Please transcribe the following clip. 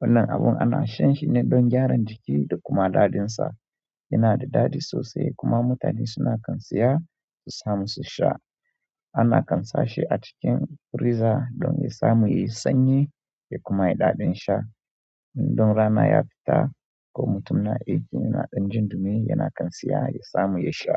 Wannan abun ana shan shi ne don gyaran jiki da kuma daɗin sa. Yana da daɗi sosai kuma mutane suna kan seya su samu su sha. Ana kan sashi a cikin friza don ya samu yayi sanyi da kuma yayi daɗin sha. In don rana ya fita ko mutum na aiki yana ɗan jin ɗumi, yana kan seya ya samu ya sha.